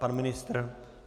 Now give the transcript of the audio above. Pan ministr?